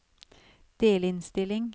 delinnstilling